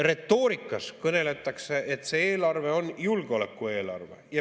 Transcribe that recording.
Retoorikas kõneldakse, et see eelarve on julgeolekueelarve.